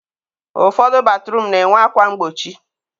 ụfọdụ batruum na-enwe akwa mgbochi.